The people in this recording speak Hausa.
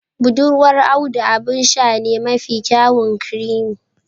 Budurwar Audu abin sha ne mafi kyawun creami